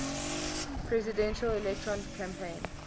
presidential election campaign